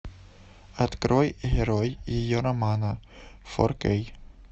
открой герой ее романа фор кей